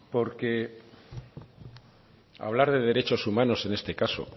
porque hablar de derechos humanos en este caso